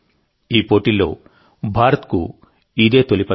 ఈ పోటీల్లో భారత్కు ఇదే తొలి పతకం